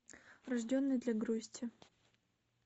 рожденный для грусти